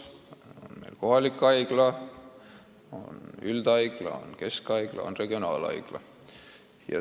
Need liigid on kohalik haigla, üldhaigla, keskhaigla ja regionaalhaigla.